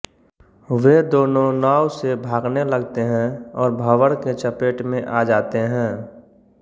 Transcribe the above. वे दोनों नाव से भागने लगते हैं और भंवर के चपेट में आ जाते हैं